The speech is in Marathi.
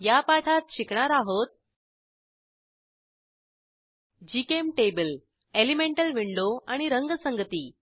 या पाठात शिकणार आहोत जीचेम्टेबल एलिमेंटल विंडो आणि रंगसंगती